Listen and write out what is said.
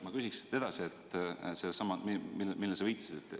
Ma küsin edasi sellesama kohta, millele sa viitasid.